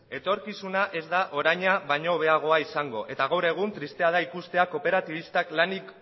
etorkizuna ez da oraina baina hobeagoa izango eta gaur egun tristea da ikustea kooperatibistak lanik